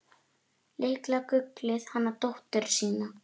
Litla gullið hana dóttur sína.